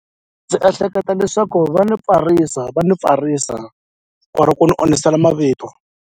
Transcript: Ndzi ehleketa leswaku va ni pfarisa va ni pfarisa or ku ni onhisela mavito.